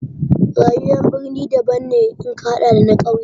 Rayuwar birni daban ne in ka haɗa da na ƙauye.